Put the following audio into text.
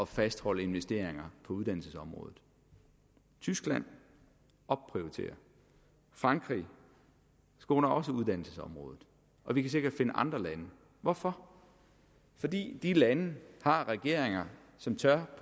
fastholde investeringer på uddannelsesområdet tyskland opprioriterer frankrig skåner også uddannelsesområdet og vi kan sikkert finde andre lande hvorfor fordi de lande har regeringer som tør